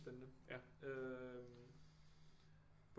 Spændende øh